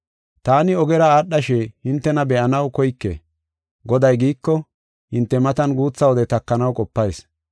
Taani ogera aadhashe hintena be7anaw koyke. Goday giiko, hinte matan guutha wode takanaw qopayis.